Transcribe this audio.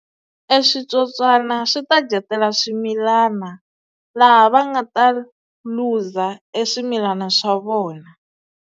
E switsotswana swi ta dyetela swimilana laha va nga ta lose-a e swimilana swa vona.